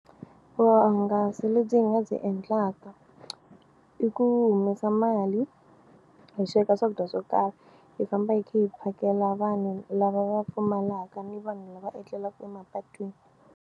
Vuhungasi lebyi hi nga byi endlaka i ku humesa mali hi sweka swakudya swo karhi hi famba hi kha hi phakela vanhu lava va pfumalaka ni vanhu lava etlelaka emapatwini.